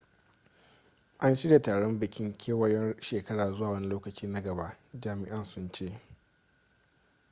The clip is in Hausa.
an shirya taron bikin kewayon shekara zuwa wani lokaci na gaba jami'an sun ce